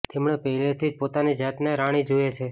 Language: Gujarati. તેમણે પહેલેથી જ પોતાની જાતને રાણી જુએ છે